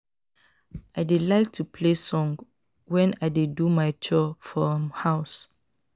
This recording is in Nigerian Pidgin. I dey like to play song wen I dey do my chore for um house